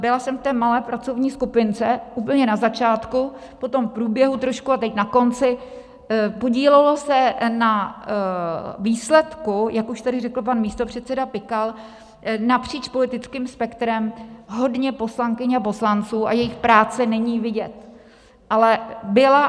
Byla jsem v té malé pracovní skupince, úplně na začátku, potom v průběhu trošku a teď na konci, podílelo se na výsledku, jak už tady řekl pan místopředseda Pikal, napříč politickým spektrem hodně poslankyň a poslanců, a jejich práce není vidět, ale byla.